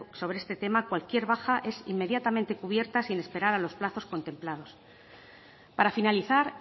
sobre este tema cualquier baja es inmediatamente cubierta sin esperar a los plazos contemplados para finalizar